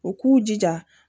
U k'u jija